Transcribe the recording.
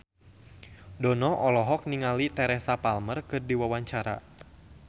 Dono olohok ningali Teresa Palmer keur diwawancara